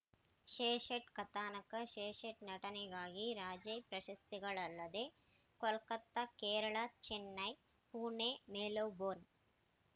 ಶ್ರೇಷ್ಠ ಕಥಾನಕ ಶ್ರೇಷ್ಠ ನಟನೆಗಾಗಿ ರಾಜ್ಯ ಪ್ರಶಸ್ತಿಗಳಲ್ಲದೇ ಕೋಲ್ಕತ್ತಾ ಕೇರಳ ಚೆನ್ನೈ ಪುಣೆ ಮೆಲ್ಬೋರ್ನ್‌